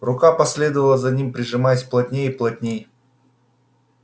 рука последовала за ним прижимаясь плотнее и плотнее